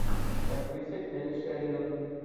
с актрисой келли шеридан